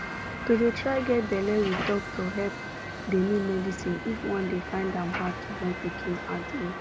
to dey try get balle with doctor help dey need medicines if one dey find am hard to born pikin asin